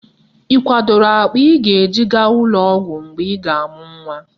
Ị kwadoro akpa ị ga-eji gaa ụlọọgwọ mgbe ị ga-amụ nnwa